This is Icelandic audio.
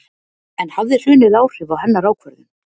En hafði hrunið áhrif á hennar ákvörðun?